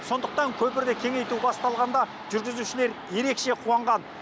сондықтан көпірді кеңейту басталғанда жүргізушілер ерекше қуанған